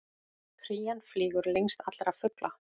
Krían flýgur lengst allra fugla!